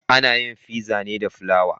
Ana yin Fizza ne da fulawa